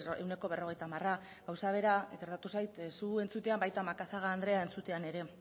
ehuneko berrogeita hamar gauza bera gertatu zait zu entzutean baita macazaga andrea entzutean ere